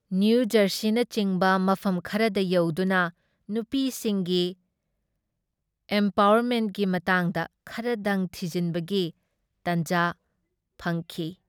ꯅꯤꯌꯨꯖꯔꯁꯤꯅꯆꯤꯡꯕ ꯃꯐꯝ ꯈꯔꯗ ꯌꯧꯗꯨꯅ ꯅꯨꯄꯤꯁꯤꯡꯒꯤ ꯑꯦꯝꯄꯋꯥꯔꯃꯦꯟꯠꯀꯤ ꯃꯇꯥꯡꯗ ꯈꯔꯗꯪ ꯊꯤꯖꯤꯟꯕꯒꯤ ꯇꯥꯟꯖꯥ ꯐꯪꯈꯤ ꯫